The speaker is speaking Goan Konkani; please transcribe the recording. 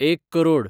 एक करोड